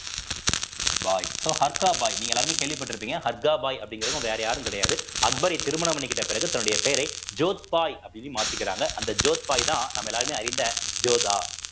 பாய் so Harka Bai நீங்க எல்லாருமே கேள்விப்பட்டிருப்பீங்க ஹர்கா பாய் அப்படிங்கிறதும் வேற யாரும் கிடையாது அக்பரை திருமணம் பண்ணிக்கிட்ட பிறகு தன்னுடைய பெயரை ஜோத்பாய் அப்படின்னு மாத்திக்கிறாங்க அந்த ஜோத்பாய்தான் நம்ம எல்லாருமே அறிந்த ஜோதா